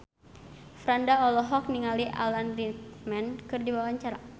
Franda olohok ningali Alan Rickman keur diwawancara